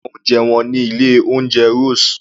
Sé o fẹ́ràn oúnjẹ wọn ní ilé oúnjẹ Rose?